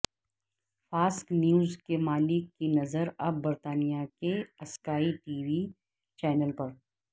Fox News کے مالک کی نظر اب برطانیہ کے اسکائی ٹی وی چینل پر